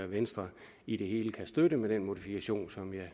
venstre i det hele kan støtte med den modifikation